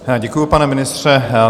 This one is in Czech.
Děkuji, pane ministře.